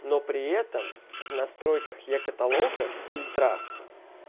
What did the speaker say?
но при этом в настройках е-каталога фильтрах